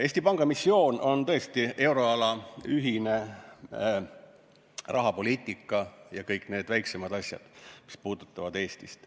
Eesti Panga missioon on tõesti euroala ühine rahapoliitika ja kõik need väiksemad asjad, mis puudutavad Eestit.